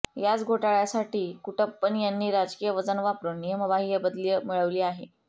याच घोटाळ्यासाठी कुटप्पन यांनी राजकीय वजन वापरून नियमबाह्य बदली मिळवली आहे